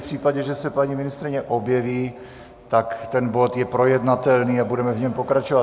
V případě, že se paní ministryně objeví, tak ten bod je projednatelný a budeme v něm pokračovat.